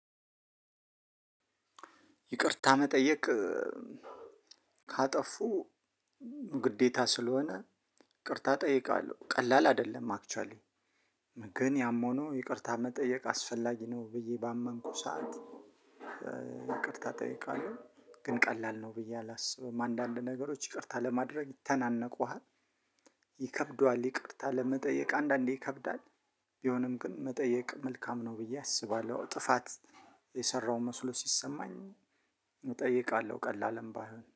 ይቅርታ መጠየቅ። ካጠፉ ግዴታ ስለሆነ ይቅርታ እጠይቃለሁ ቀላል አይደለም። አክችዋሊ ግን ያም ሆኖ ይቅርታ መጠየቅ አስፈላጊ ነው ብዬ ባመንኩ ሰዓት። ይቅርታ እጠይቃለሁ። ግን ቀላል ነው ብዬ አላስብም አንዳንድ ነገሮች ይቅርታ ለማድረግ ይተናነቁሃል። ይከብዱሃል ይቅርታ ለመጠየቅ አንዳንዴ ይከብዳል። ቢሆንም ግን መጠየቅ መልካም ነው ብዬ አስባለሁ። ጥፋት የሰራው መስሎ ሲሰማኝ እጠይቃለሁ ቀላልም ባይሆን